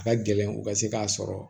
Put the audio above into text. A ka gɛlɛn u ka se k'a sɔrɔ